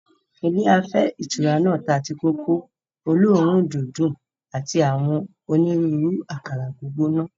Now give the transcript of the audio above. Ilé afẹ́ ìtura náà ta tíì-kòkó olóòórùn-dídùn àti àwọn onírúurú àkàrà gbígbóná.